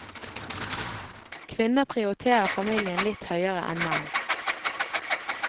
Kvinner prioriterer familien litt høyere enn menn.